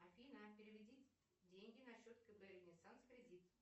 афина переведи деньги на счет кб ренессанс кредит